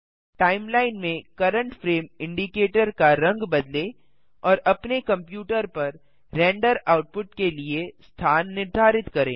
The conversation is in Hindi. टाइमलाइन में करेंट फ्रेम इंडिकेटर का रंग बदलें और अपने कंप्यूटर पर रेंडर आउटपुट के लिए स्थान निर्धारित करें